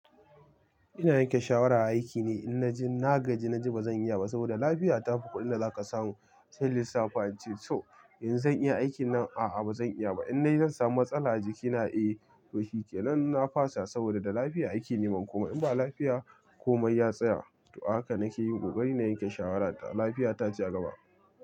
Ina yanke shawara a aiki ne, in naji na gaji naji ba zan iya ba saboda lafiya ta fi kuɗin da za ka samu, sai in lissafi in ce to yanzu zan iya aikin nan a'a ba zan iya ba, in nayi zansamu matsala a jikina eh to shike nan na fasa saboda da lafiya aike ne man komai in ba lafiya komai ya tsaya. To ahaka nake yi kokari na yanke shawara ta lafiya ta ce agaba.